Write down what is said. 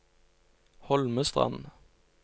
Holmestrand